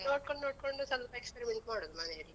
ಅದನ್ ನೋಡ್ಕೋಂಡ್ ನೋಡ್ಕೊಂಡು ಸ್ವಲ್ಪ experiment ಮಾಡುದು ಮನೆಲ್ಲಿ.